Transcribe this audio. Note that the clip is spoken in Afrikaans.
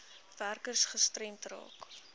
werkers gestremd raak